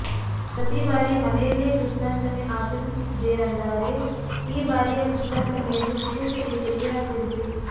ಪ್ರತಿಬಾರಿ ಮನೆಯಲ್ಲೇ ಕೃಷ್ಣಾಷ್ಟಮಿ ಆಚರಿಸುತ್ತಿದ್ದೀರೆಂದಾರೆ ಈ ಬಾರಿಯ ಕೃಷ್ಣಾಷ್ಟಮಿಯನ್ನು ವಿಶೇಷ ರೀತಿಯಲ್ಲಿ ಆಚರಿಸಿ